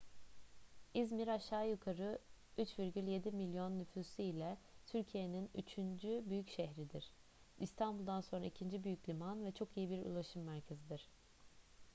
i̇zmir aşağı yukarı 3,7 milyon nüfusu ile türkiye'nin üçüncü büyük şehridir i̇stanbul'dan sonra ikinci büyük liman ve çok iyi bir ulaşım merkezidir